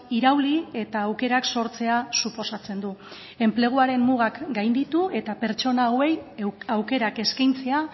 irauli eta aukerak sortzea suposatzen du enpleguaren mugak gainditu eta pertsona hauei aukerak eskaintzea